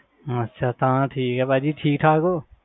ਅੱਛਾ, ਤਾਂ ਠੀਕ ਭਾਜੀ ਠੀਕ ਠਾਕ ਹੋ?